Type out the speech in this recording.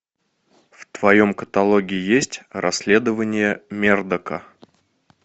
в твоем каталоге есть расследование мердока